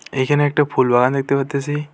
এইখানে একটা ফুলবাগান দেখতে পারতেসি।